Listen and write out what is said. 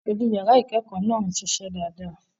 Aṣojú yàrá ìkẹ́kọ̀ọ́ náà ń ṣiṣẹ́ dáadáa.